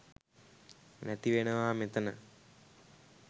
නැති වෙනවා මෙතැන.